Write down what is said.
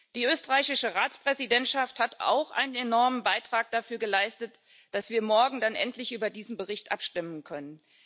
Die österreichische Ratspräsidentschaft hat auch einen enormen Beitrag dafür geleistet, dass wir morgen dann endlich über diesen Bericht abstimmen können.